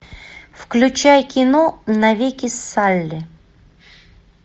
включай кино навеки салли